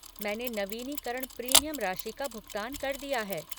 मैंने नवीनीकरण प्रीमियम राशि का भुगतान कर दिया है।